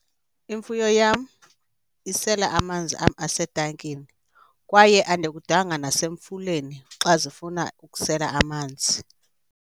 Imfuyo yam isela amanzi am asetankini kwaye andikudanga nasemfuleni xa zifuna ukusela amanzi.